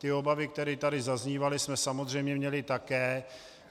Ty obavy, které tady zaznívaly, jsme samozřejmě měli také.